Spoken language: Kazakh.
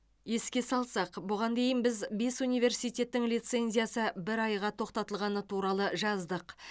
еске салсақ бұған дейін біз бес университеттің лицензиясы бір айға тоқтатылғаны туралы жаздық